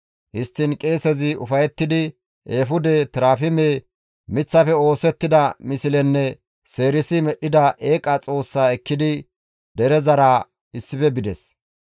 Histtiin qeesezi ufayettidi eefude, terafime, miththafe masettida mislenne seerisi medhdhida eeqa xoossaa ekkidi derezara issife bides.